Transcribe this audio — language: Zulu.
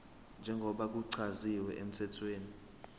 njengoba kuchaziwe emthethweni